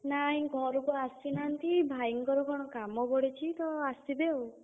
ନାଇଁ ଘରୁକୁ ଆସିନାହାନ୍ତି, ଭାଇଙ୍କର କଣ କାମ ପଡିଛି ତ ଆସିବେ ଆଉ।